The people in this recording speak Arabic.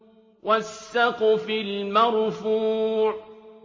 وَالسَّقْفِ الْمَرْفُوعِ